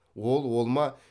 ол ол ма